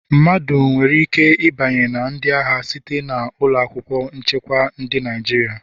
Mmadụ nwere ike ịbanye na ndị agha site na ụlọ akwụkwọ nchekwa Ndị Naịjirịa